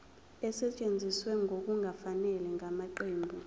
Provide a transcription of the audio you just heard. esetshenziswe ngokungafanele ngamaqembu